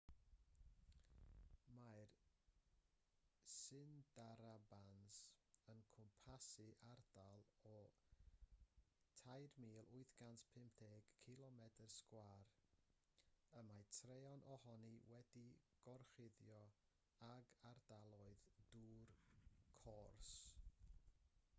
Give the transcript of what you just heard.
mae'r sundarbans yn cwmpasu ardal o 3,850 cilomedr sgwâr y mae traean ohoni wedi'i gorchuddio ag ardaloedd dŵr/cors